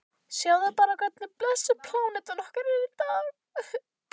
Sjáðu bara hvernig blessuð plánetan okkar er í dag.